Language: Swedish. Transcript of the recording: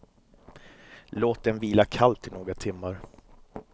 Låt den vila kallt i några timmar.